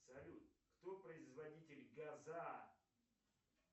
салют кто производитель газа